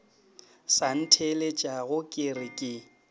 sa ntheeletšage ke re ke